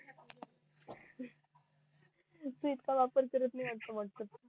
तू इतका वापर करत नई असा बोलतो तू